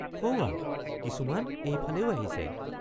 সৌৱা কিছুমান এই ফালেও আহিছে।